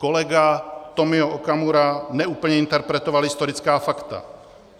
Kolega Tomio Okamura neúplně interpretoval historická fakta.